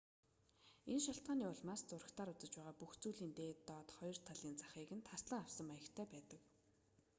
энэ шалтгааны улмаас зурагтаар үзэж байгаа бүх зүйлийн дээд доод хоёр талын захыг нь таслан авсан маягтай байдаг